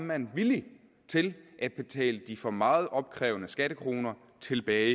man villig til at betale de for meget opkrævede skattekroner tilbage